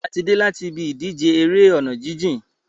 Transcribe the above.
A ti dé láti ibi ìdíje eré ọ̀nà jíjìn.